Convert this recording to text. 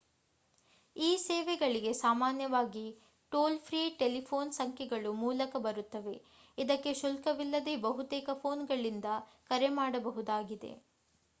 ಈ ಸೇವೆಗಳಿಗೆ ಸಾಮಾನ್ಯವಾಗಿ ಟೋಲ್‌ ಫ್ರೀ ಟೆಲಿಫೋನ್‌ ಸಂಖ್ಯೆಗಳು ಮೂಲಕ ಇರುತ್ತದೆ. ಇದಕ್ಕೆ ಶುಲ್ಕವಿಲ್ಲದೇ ಬಹುತೇಕ ಫೋನ್‌ಗಳಿಂದ ಕರೆ ಮಾಡಬಹುದಾಗಿದೆ